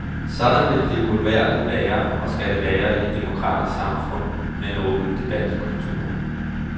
Sådan vil det uværgerligt være og skal det være i et demokratisk samfund med en åben debatkultur.